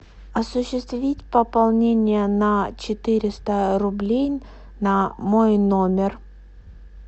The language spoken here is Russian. осуществить пополнение на четыреста рублей на мой номер